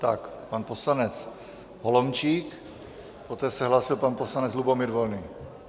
Tak pan poslanec Holomčík, poté se hlásil pan poslanec Lubomír Volný.